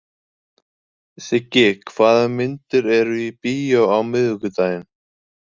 Siggi, hvaða myndir eru í bíó á miðvikudaginn?